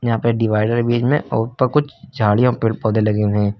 यहां पे डिवाइडर है बीच में और ऊपर कुछ झाड़ियां और पेड़ पौधे लगे हुए हैं।